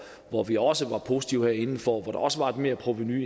hvor vi også var positive herinde hvor der også var et merprovenu